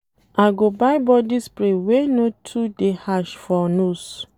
I go buy body spray wey no too dey harsh for nose.